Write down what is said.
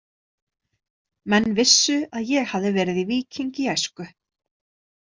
Menn vissu að ég hafði verið í víking í æsku.